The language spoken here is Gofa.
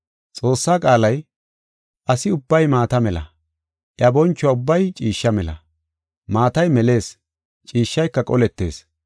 Xoossaa qaalay, “Asi ubbay maata mela; iya boncho ubbay ciishsha mela. Maatay melees, ciishshayka qoletees.